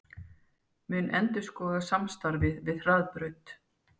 Mun endurskoða samstarfið við Hraðbraut